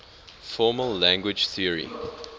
formal language theory